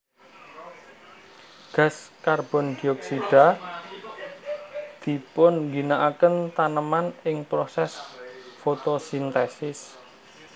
Gas karbondioksida dipunginakaken taneman ing prosès fotosintèsis